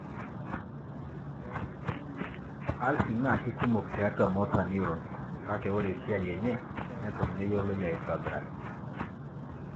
Alsin naa kikumok tiatua motor neurons, Kake wore esiai enye neton meyioloi aitobiraki.